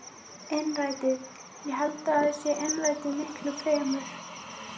Innrætið, ég held að það sé innrætið miklu fremur.